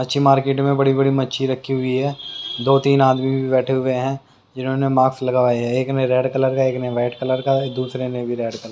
मच्छी मार्केट में बड़ी-बड़ी मच्छी रखी हुई है दो-तीन आदमी भी बैठे हुए हैं जिन्होंने मास्क लगवाए है एक ने रेड कलर का एक ने वाइट कलर का दूसरे ने भी रेड कलर का।